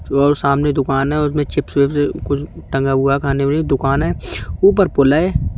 और सामने दुकान है और उसमें चिप्स विप्स कुछ टंगा हुआ है खाने वाली दुकान है ऊपर पुल है।